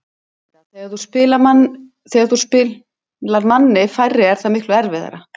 Auðvitað, þegar þú spilar manni færri er það miklu erfiðara.